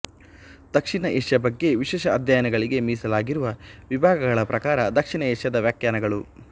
ದಕ್ಷಿಣ Asia ಬಗ್ಗೆ ವಿಶೇಷ ಅಧ್ಯಯನಗಳಿಗೆ ಮೀಸಲಾಗಿರುವ ವಿಭಾಗಗಳ ಪ್ರಕಾರ ದಕ್ಷಿಣ ಏಷ್ಯಾದ ವ್ಯಾಖ್ಯಾನಗಳು